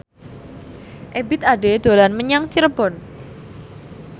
Ebith Ade dolan menyang Cirebon